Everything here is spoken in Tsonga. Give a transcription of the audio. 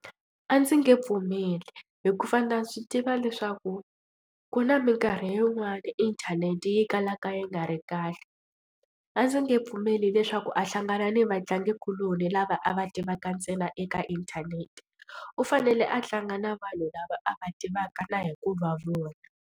A ndzi nge pfumeli hikuva na swi tiva leswaku ku na minkarhi yin'wani inthanete yi kalaka yi nga ri kahle. A ndzi nge pfumeli leswaku a hlangana ni vatlangikuloni lava a va tivaka ntsena eka inthanete u fanele a tlanga na vanhu lava a va tivaka na hi ku va vona.